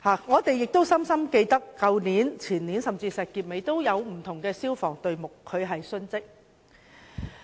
我們亦深刻記得，去年、前年，甚至是在石硤尾火災中，也有消防隊目殉職。